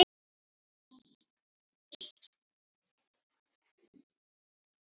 Fyrir henni var